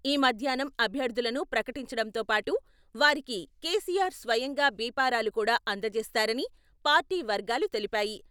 ఈ మధ్యాహ్నం అభ్యర్థులను ప్రకటించటంతోపాటు వారికి కెసిఆర్ స్వయంగా బిఫారాలు కూడా అందజేస్తారని పార్టీ వర్గాలు తెలిపాయి.